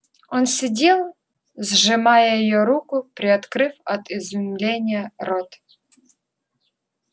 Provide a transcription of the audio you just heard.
он сидел сжимая её руку приоткрыв от изумления рот